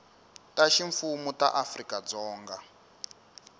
ta ximfumu ta afrika dzonga